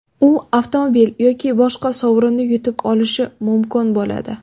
U avtomobil yoki boshqa sovrinni yutib olishi mumkin bo‘ladi.